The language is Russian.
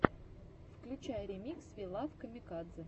включай ремикс ви лав камикадзе